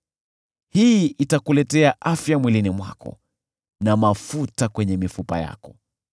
Hii itakuletea afya mwilini mwako, na mafuta kwenye mifupa yako.